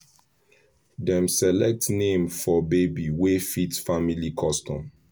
dem select name for baby wey fit family custom